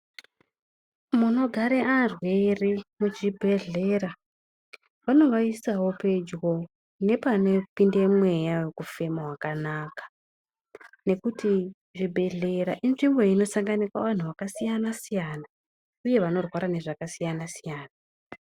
Munogare varwere kuchibhedhlera, vanovaisawo pedyo nepanopinde mweya wekufema wakanaka nekuti zvibhedhlera inzvimbo inosanganikwa vanhu vakasiyana siyana uye anorwara nezvakasiyana siyana.